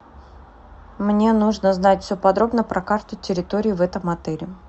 мне нужно знать все подробно про карту территории в этом отеле